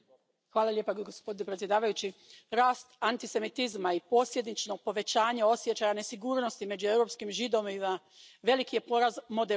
Poštovani predsjedavajući, rast antisemitizma i posljedično povećanje osjećaja nesigurnosti među europskim Židovima veliki je poraz moderne Europe.